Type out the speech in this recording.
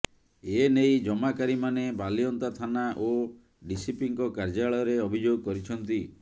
ଏ ନେଇ ଜମାକାରୀମାନେ ବାଲିଅନ୍ତା ଥାନା ଓ ଡିସିପିଙ୍କ କାର୍ଯ୍ୟାଳୟରେ ଅଭିଯୋଗ କରିଛନ୍ତି